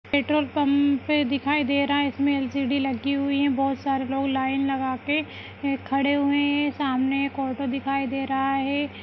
Petrol pump दिखाई दे रहा है इसमें एल.सी.डी लगी हुई हैं बहोत सारे लोग लाइन लगा के खड़े हुए हैं सामने एक ऑटो दिखाई दे रहा है।